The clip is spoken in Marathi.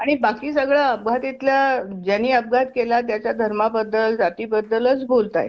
आणि बाकी सगळं अपघातातल्या ज्यानी अपघात केला त्याच्या धर्मा बद्दल जाती बद्दलच बोलतायेत.